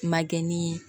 Ma kɛ ni